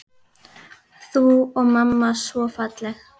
Þú og mamma svo falleg.